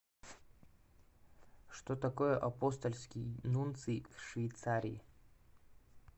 что такое апостольский нунций в швейцарии